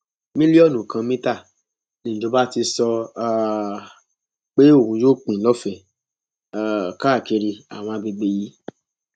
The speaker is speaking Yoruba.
mílíọnù kan mítà nìjọba ti sọ um pé òun yóò pín lọfẹẹ um káàkiri àwọn àgbègbè yìí